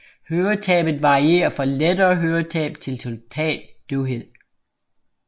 Høretabet varierer fra lettere høretab til total døvhed